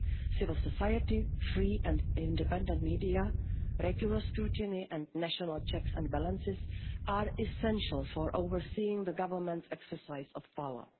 role. Civil society, free and independent media, regular scrutiny and national checks and balances are essential for overseeing the government's exercise